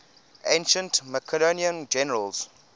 ancient macedonian generals